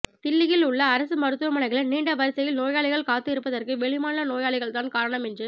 தில்லியில் உள்ள அரசு மருத்துவமனைகளில் நீண்ட வரிசையில் நோயாளிகள் காத்து இருப்பதற்கு வெளிமாநில நோயாளிகள் தான் காரணம் என்று